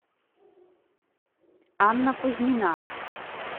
анна кузьмина